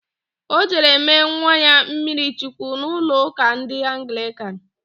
Ọ jere mee nwa ya mmiri chukwu n'ụlọụka ndị Anglịkan.